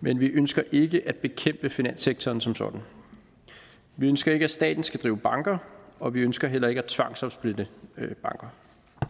men vi ønsker ikke at bekæmpe finanssektoren som sådan vi ønsker ikke at staten skal drive banker og vi ønsker heller ikke at tvangsopsplitte banker